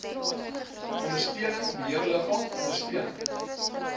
ondersteuning beheerliggaam ondersteuning